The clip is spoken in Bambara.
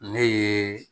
Ne ye